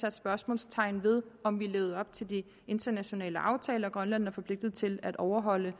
sat spørgsmålstegn ved om vi levede op til de internationale aftaler som grønland er forpligtet til at overholde